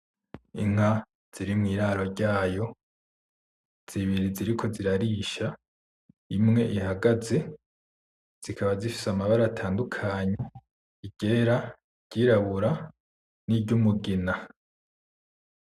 Inka ziri mwiraro ryayo zibiri ziriko zirarisha imwe ihagaze zikaba zifise amabara atandukanye iryera iryirabura n'iryumugina